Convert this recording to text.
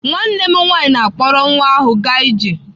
Nwanne m nwaanyị na-akpọrọ nwa ahụ gaa ije.